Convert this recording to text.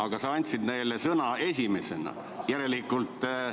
Ent sa andsid neile sõna enne mind.